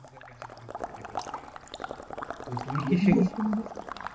তো তুমি কিসে